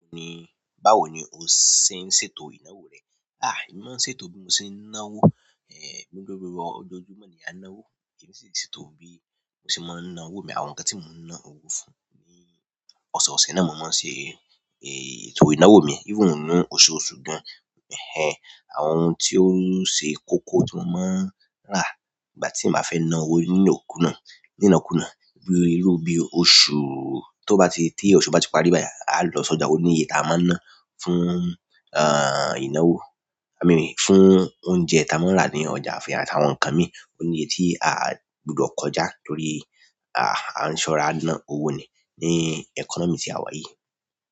Báwo ni o ṣe ń ṣètò ìnáwó rẹ? Ah! Èmi máa ń ṣètò bí mo ṣe ń náwó. Eh, gbogbo gbogbo ọjọ́ojúmọ́ ni a ń náwó. Èmi sì ń ṣètò bí mo ṣe máa ń náwó mi. Àwọn nǹkan tí mo ń ná owó fún ni ọ̀sọ̀ọ̀sẹ̀ náà mo máa ń ṣe, ètò ìnáwó mi. Even nínú oṣooṣù gan. Ehn ehn, àwọn ohun tí ó ṣe kókó tí mo máa ń rà ìgbà tí màá fẹ́ ná owó nínokunà, nínakúnà bí iru bí i oṣù tó bá ti tí oṣù bá ti parí báyìí, aa lọ sójà, ó níye taa máa ń ná fún, ìnáwó. I mean fún oúnjẹ tí a máa ń rà ní ọjà fún yà àti àwọn nǹkan mi. Ó ní iye tí a a gbọdọ̀ kọjá torí, ah, a ń ṣọrá ná owó ni ní ẹkọ́nọ́mì tí àwa yí.